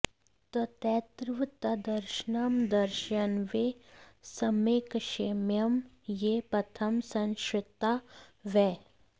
तत्रैव तद्दर्शनं दर्शयन्वै सम्यक्क्षेम्यं ये पथं संश्रिता वै